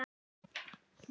Og virkið sjálft?